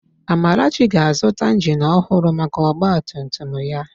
Amarachi ga-azụta ịnjin ọhụrụ maka ọgbatumtum ya